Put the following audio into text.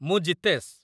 ମୁଁ ଜିତେଶ।